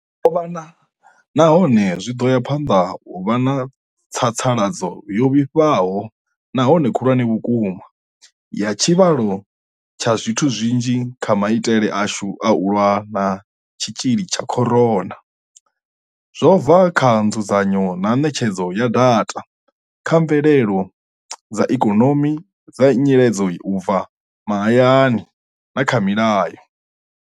Ho vha na, nahone zwi ḓo ya phanḓa u vha na tsatsaladzo yo vhifhaho nahone khulwane vhukuma ya tshivhalo tsha zwithu zwinzhi kha maitele ashu a u lwa na tshitzhili tsha corona, zwo bva kha nzudzanyo na ṋetshedzo ya data, kha mvelelo dza ikonomi dza nyiledza u bva mahayani, na kha milayo.